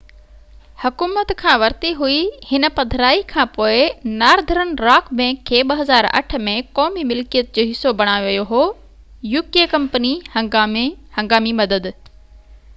company هنگامي مدد uk حڪومت کان ورتي هئي هن پڌرائي کانپوءِ نارڌرن راڪ بئنڪ کي 2008 ۾ قومي ملڪيت جو حصو بڻايو ويو هو